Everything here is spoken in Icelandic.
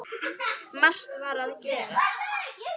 Margt var að gerast.